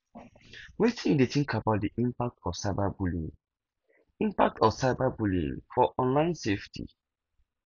wetin you think about di impact of cyberbullying impact of cyberbullying for online safety